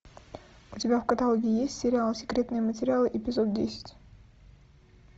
у тебя в каталоге есть сериал секретные материалы эпизод десять